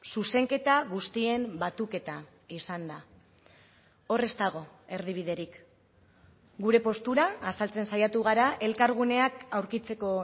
zuzenketa guztien batuketa izan da hor ez dago erdibiderik gure postura azaltzen saiatu gara elkarguneak aurkitzeko